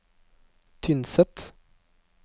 Tynset